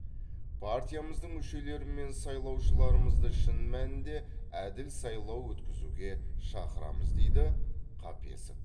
партиямыздың мүшелері мен сайлаушыларымызды шын мәнінде әділ сайлау өткізуге шақырамыз дейді қапесов